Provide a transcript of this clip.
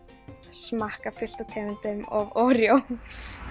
smakka fullt af tegundum af Oreo